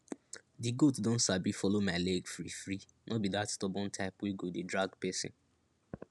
di goat don sabi follow my leg freefree no be dat stubborn type wey go dey drag person